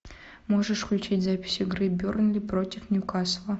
можешь включить запись игры бернли против ньюкасла